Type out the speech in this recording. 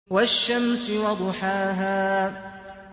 وَالشَّمْسِ وَضُحَاهَا